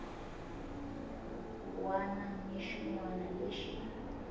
wana ni xin wana lexi